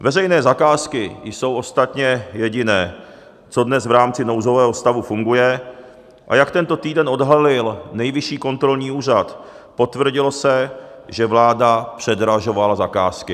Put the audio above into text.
Veřejné zakázky jsou ostatně jediné, co dnes v rámci nouzového stavu funguje, a jak tento týden odhalil Nejvyšší kontrolní úřad, potvrdilo se, že vláda předražovala zakázky.